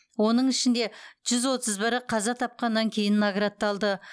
оның ішінде жүз отыз бірі қаза тапқаннан кейін наградталды